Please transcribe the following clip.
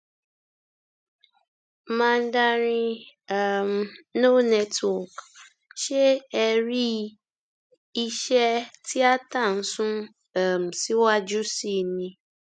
mandarin um no network ṣé ẹ rí i iṣẹ tíata ń sún um síwájú sí i ni